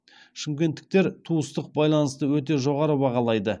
шымкенттіктер туыстық байланысты өте жоғары бағалайды